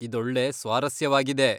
ಇದೊಳ್ಳೆ ಸ್ವಾರಸ್ಯವಾಗಿದೆ.